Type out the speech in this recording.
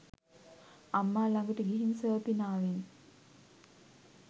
අම්මා ළඟට ගිහින් සර්පිනාවෙන්